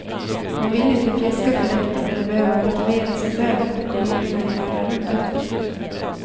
Hon vill inte fjäska för rektorn eller behöva motivera sin lön inför kollegerna i lärarrummet.